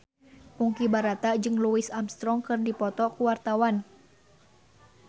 Ponky Brata jeung Louis Armstrong keur dipoto ku wartawan